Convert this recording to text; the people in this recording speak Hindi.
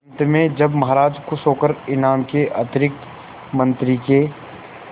अंत में जब महाराज खुश होकर इनाम के अतिरिक्त मंत्री के